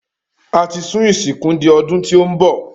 A ti sún ìsìnkú di ọdún tí óún bọ̀